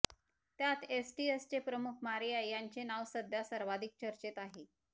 त्यात एटीएसचे प्रमुख मारिया यांचे नाव सध्या सर्वाधिक चर्चेत आहे